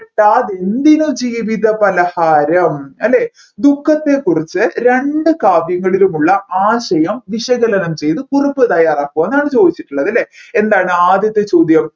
കിട്ടാതെന്തിന് ജീവിത പലഹാരം അല്ലെ ദുഃഖത്തെ കുറിച്ച് രണ്ട് കാവ്യങ്ങളിലുമുള്ള ആശയം വിശകലനം ചെയ്തു കുറിപ്പ് തയ്യാറാക്കുക എന്നാണ് ചോദിച്ചതിട്ടുള്ളത് അല്ലെ എന്താണ് ആദ്യത്തെ ചോദ്യം